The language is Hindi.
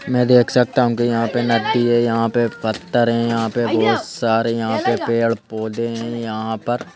मैं देख सकता हूं कि यहां पे नदी है यहां पे पत्थर है यहां पे बहोत सारे यहां पे पेड़-पौधे हैं यहां पर --